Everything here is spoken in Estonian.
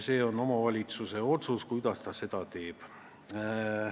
See on omavalitsuse otsus, mida ta sellega teeb.